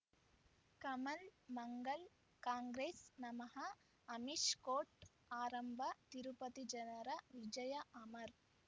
ಕಮಲ್ ಮಂಗಳ್ ಕಾಂಗ್ರೆಸ್ ನಮಃ ಅಮಿಷ್ ಕೋರ್ಟ್ ಆರಂಭ ತಿರುಪತಿ ಜನರ ವಿಜಯ ಅಮರ್